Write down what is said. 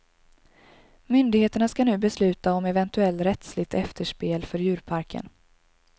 Myndigheterna skall nu besluta om eventuell rättsligt efterspel för djurparken.